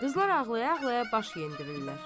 Qızlar ağlaya-ağlaya baş yendirdilər.